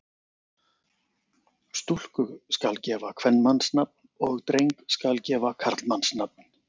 Stúlku skal gefa kvenmannsnafn og dreng skal gefa karlmannsnafn.